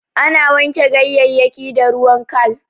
Ana wanke ganyayyaki da ruwan kal.